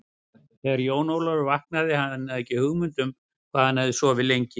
Þegar Jón Ólafur vaknaði hafði hann ekki hugmynd um hvað hann hafði sofið lengi.